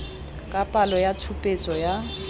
ka palo ya tshupetso ya